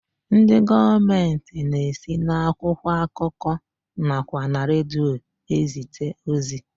Ndị gọọmenti na-esi n'akwụkwọ akụkọ nakwa na redio e zite ozi.